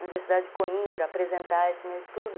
Universidade de Coimbra, apresentar esse meu estudo.